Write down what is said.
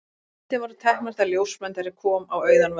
Þessar myndir voru teknar þegar ljósmyndari kom á auðan völlinn.